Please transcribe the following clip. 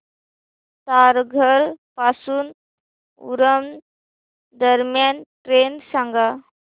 तारघर पासून उरण दरम्यान ट्रेन सांगा